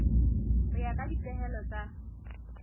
ho ya ka dipehelo tsa